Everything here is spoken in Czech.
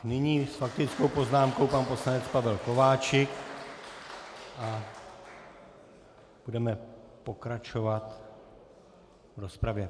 Nyní s faktickou poznámkou pan poslanec Pavel Kováčik a budeme pokračovat v rozpravě.